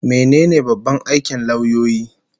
Mene ne babban aikin lauyoyi?